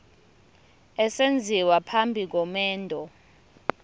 esenziwa phambi komendo